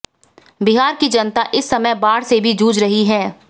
बिहार की जनता इस समय बाढ़ से भी जूझ रही है